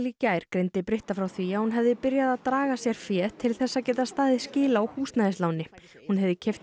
gær greindi Britta frá því að hún hefði byrjað að draga sér fé til þess að geta staðið skil á húsnæðisláni hún hefði keypt